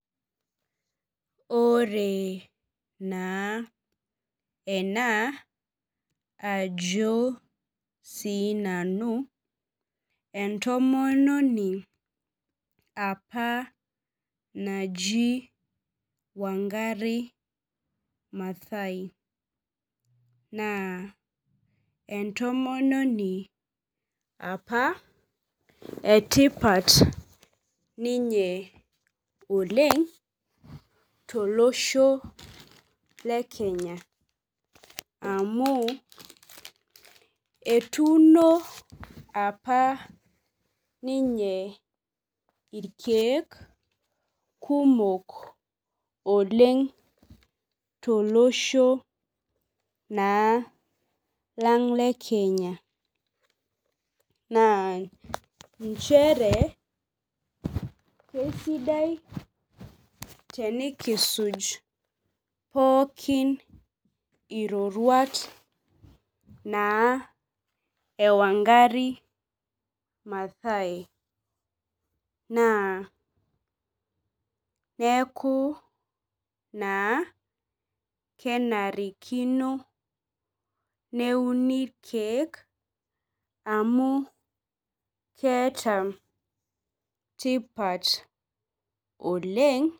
Ore naa enaa ajo sii nanu entomononi apa naji Wangari Mathai. Naa entomononi apa etipat oleng to losho le Kenya, amu etuno apa ninye irkeek kumok oleng to losho naa lang le Kenya. Naa inchere kisidai tenikisuj pookin iroruat naa ee Wangari Mathai naa neeku naa kenarrrikino neuni irkeek amu ketaa tipat oleng.